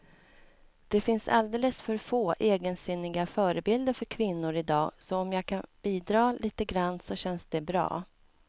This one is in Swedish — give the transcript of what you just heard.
Det finns alldeles för få egensinniga förebilder för kvinnor i dag, så om jag kan bidra lite grann så känns det bra.